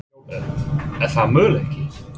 Jón Örn: Er það möguleiki?